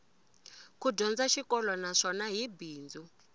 ku dyondza xikolo naswona hi bindzu